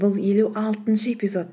бұл елу алтыншы эпизод